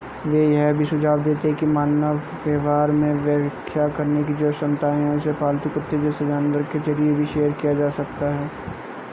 वे यह भी सुझाव देते हैं कि मानव व्यवहार में व्याख्या करने की जो क्षमताएं हैं उसे पालतू कुत्ते जैसे जानवर के ज़रिए भी शेयर किया जा सकता है